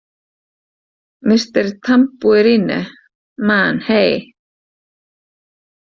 Mister Tambourine Man Hey!